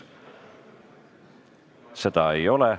Seda ei ole.